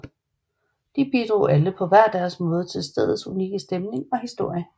De bidrog alle på hver deres måde til stedets unikke stemning og historie